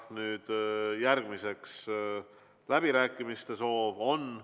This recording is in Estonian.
Tundub, et läbirääkimiste soovi on.